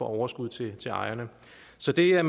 overskud til ejerne så det er